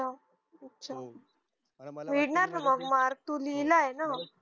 हम्म अच्छा मिळणार ना म mark तू लिहिलंय ना